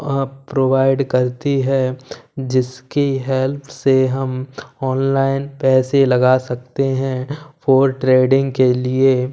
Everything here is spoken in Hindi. और प्रोवाइड करती हैं जिसकी हेल्प से हम ऑनलाइन पैसे लगा सकते हैं फॉर ट्रेडिंग के लिए--